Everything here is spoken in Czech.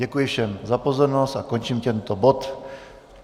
Děkuji všem za pozornost a končím tento bod.